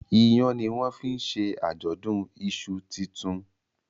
Iyán ní wón fín ṣe ajọdun iṣu tintun